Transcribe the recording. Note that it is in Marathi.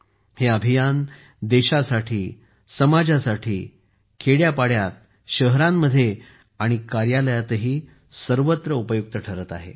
हे अभियान देशासाठी समाजासाठी खेड्यापाड्यात शहरांमध्ये आणि कार्यालयातही सर्वत्र उपयुक्त ठरत आहे